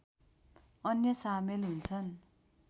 अन्य सामेल हुन्छन्